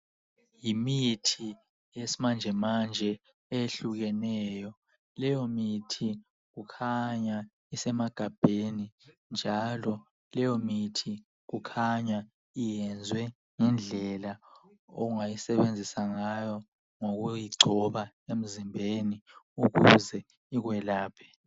Yimithi yesmanjemanje eyehlukeneyo. Leyo mithi kukhanya isemagabheni, njalo leyomithi kukhanya iyenzwe ngendlela ongayisebenzisa ngayo ngokuyigcoba emzimbeni ukuze ikwelaphe.